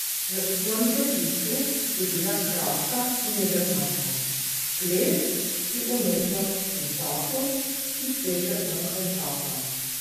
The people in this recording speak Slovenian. V svojem zapisu je bila kratka in jedrnata: "Ples je umetnost v času, ki seže onkraj časa.